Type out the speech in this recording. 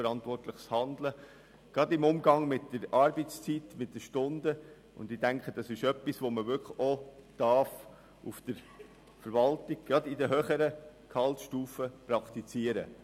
Eigenverantwortliches Handeln gerade im Umgang mit der Arbeitszeit und den geleisteten Stunden darf durchaus auch in der Verwaltung, zumindest in den höheren Gehaltsstufen, praktiziert werden.